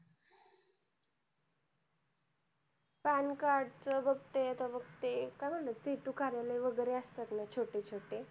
pan card च बघ ते आता बघ ते काय म्हणतात ते कार्यालय वैगेरे असतात ना छोटे छोटे